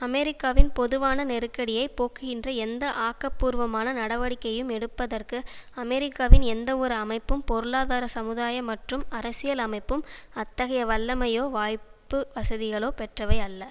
அமெரிக்காவின் பொதுவான நெருக்கடியை போக்குகின்ற எந்த ஆக்கபூர்வமான நடவடிக்கையும் எடுப்பதற்கு அமெரிக்காவின் எந்த ஒரு அமைப்பும் பொருளாதார சமுதாய மற்றும் அரசியல் அமைப்பும் அத்தகைய வல்லமையோ வாய்ப்பு வசதிகளோ பெற்றவை அல்ல